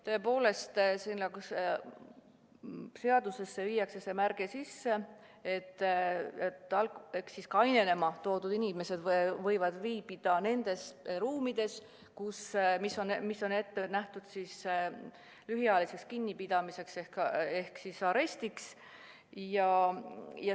Tõepoolest, seadusesse viiakse sisse märge, et kainenema toodud inimesed võivad viibida nendes ruumides, mis on ette nähtud lühiajaliseks kinnipidamiseks ehk arestiks.